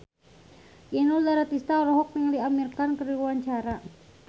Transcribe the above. Inul Daratista olohok ningali Amir Khan keur diwawancara